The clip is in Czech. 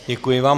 Děkuji vám.